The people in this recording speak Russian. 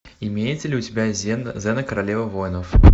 имеется ли у тебя зена королева воинов